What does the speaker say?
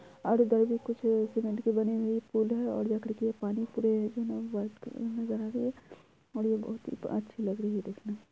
और इधर भी कुछ सीमेंट की बनी पुल है और ये बहुत ही अच्छी लग रही है देखने में--